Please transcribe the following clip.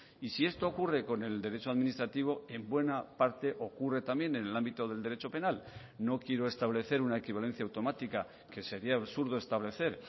y si esto ocurre con el derecho administrativo en buena parte ocurre también en el ámbito del derecho penal no quiero establecer una equivalencia automática que sería absurdo establecer